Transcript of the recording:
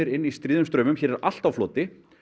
inn í stríðum straumum hér er allt á floti